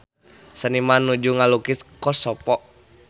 Seniman nuju ngalukis Kosovo